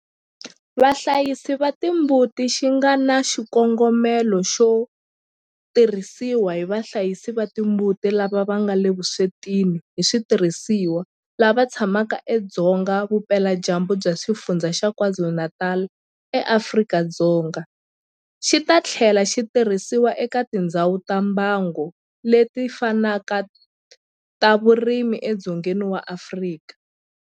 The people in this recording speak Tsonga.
Vahlayisi va timbuti xi nga na xikongomelo xo tirhisiwa hi vahlayisi va timbuti lava nga le vuswetini hi switirhisiwa lava tshamaka edzonga vupeladyambu bya Xifundzha xa KwaZulu-Natal eAfrika-Dzonga, xi ta tlhela xi tirhisiwa eka tindhawu ta mbango leti fanaka ta vurimi edzongeni wa Afrika.